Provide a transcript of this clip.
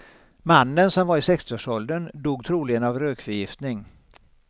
Mannen, som var i sextioårsåldern, dog troligen av rökförgiftning.